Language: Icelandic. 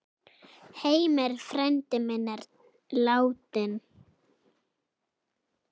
Heimir frændi minn er látinn.